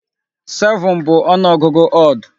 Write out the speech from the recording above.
7 bụ ọnụ ọgụgụ odd.